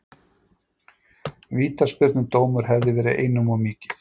Vítaspyrnudómur hefði verið einum of mikið.